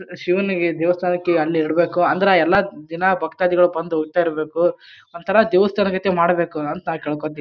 ಶಿವನಿಗೆ ದೇವಸ್ಥಾನಕ್ಕೆ ಅಲ್ಲೆ ಇಡಬೇಕು ಅಂದ್ರ ಎಲ್ಲ ದಿನ ಭಕ್ತದಿಗಳು ಬಂದು ಹೋಯಿತಾ ಇರ್ಬೇಕು ಒಂಥರಾ ದೇವಸ್ಥಾನ ಗತೆ ಮಾಡಬೇಕು ಅಂತ ನಾನ್ ಕೇಳ್ಕತೀನಿ.